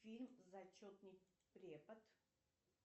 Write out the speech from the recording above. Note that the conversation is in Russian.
фильм зачетный препод